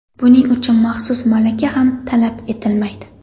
Buning uchun maxsus malaka ham talab etilmaydi.